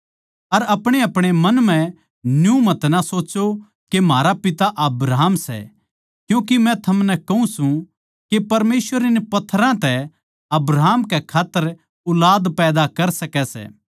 अर अपणेअपणे मन म्ह न्यू मतना सोच्चो के म्हारा पिता अब्राहम सै क्यूँके मै थमनै कहूँ सूं के परमेसवर इन पत्थरां तै अब्राहम कै खात्तर ऊलाद पैदा कर सकै सै